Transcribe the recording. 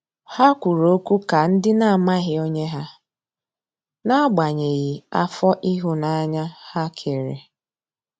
Ha kwụrụ ọkwụ ka ndi na amaghị onye ha, n'agbanyeghi afọ ihunanya ha kere.